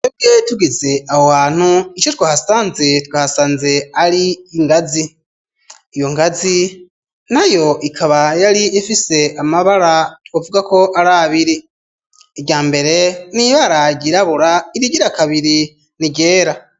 Ebweyi tugize awo hantu ico twahasanze twahasanze ari ingazi iyo nkazi na yo ikaba yari imfise amabara tbavugako ari abiri irya mbere niyo aragairabura irigira kabiri ni gera.